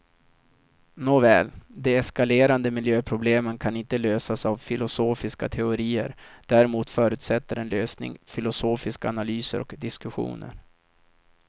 Nåväl, de eskalerande miljöproblemen kan inte lösas av filosofiska teorier, däremot förutsätter en lösning filosofiska analyser och diskussioner.